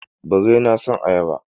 Birrai na son ayaba.